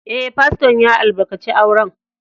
Eh, Fasto'n ya albarkace auren.